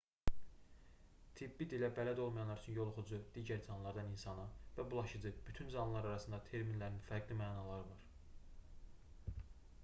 tibbi dilə bələd olmayanlar üçün yoluxucu digər canlılardan insana və bulaşıcı bütün canlılar arasında terminlərinin fərqli mənaları var